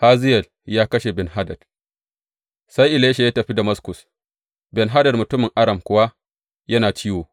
Hazayel ya kashe Ben Hadad Sai Elisha ya tafi Damaskus, Ben Hadad mutumin Aram kuwa yana ciwo.